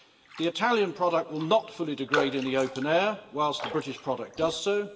The Italian product will not fully degrade in the open air, whilst the British product does so.